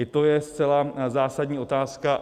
I to je zcela zásadní otázka.